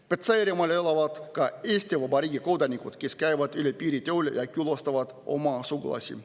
Petserimaal elavad ka Eesti Vabariigi kodanikud, kes käivad üle piiri tööle ja külastavad oma sugulasi.